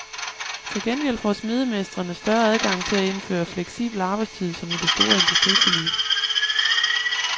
Til gengæld får smedemestrene større adgang til at indføre fleksibel arbejdstid som i det store industriforlig.